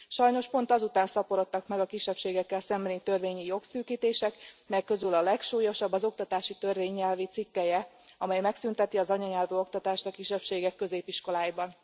Sajnos pont azután szaporodtak meg a kisebbségekkel szembeni törvényi jogszűkítések, melyek közül a legsúlyosabb az oktatási törvény nyelvi cikkelye, amely megszűnteti az anyanyelvi oktatást a kisebbségek középiskoláiban.